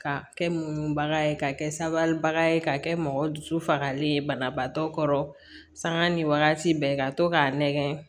Ka kɛ munu bagan ye ka kɛ sabalibaga ye ka kɛ mɔgɔ dusu fagalen ye banabaatɔ kɔrɔ sanga ni wagati bɛɛ ka to k'a nɛgɛn